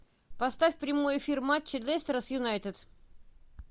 поставь прямой эфир матча лестера с юнайтед